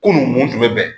Kunun mun tun bɛ bɛn